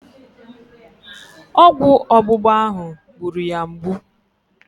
Ọgwụ ọgbụgba ahụ gburu ya mgbu.